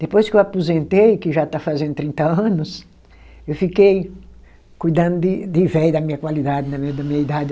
Depois que eu aposentei, que já está fazendo trinta anos, eu fiquei cuidando de de velho da minha qualidade, da minha idade.